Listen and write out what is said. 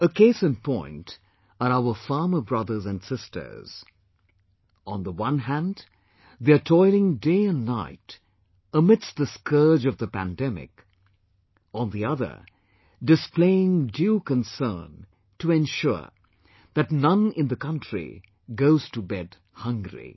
A case in point are our farmer brothers and sisters on the one hand , they are toiling day and night amidst the scourge of the pandemic; on the other displaying due concern to ensure that none in the country goes to bed hungry